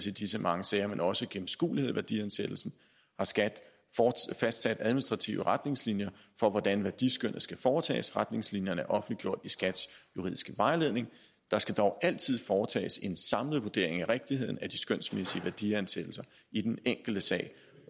i disse mange sager men også en gennemskuelighed i værdiansættelsen har skat fastsat administrative retningslinjer for hvordan værdiskønnet skal foretages retningslinjerne er offentliggjort i skats juridiske vejledning der skal dog altid foretages en samlet vurdering af rigtigheden af de skønsmæssige værdiansættelser i den enkelte sag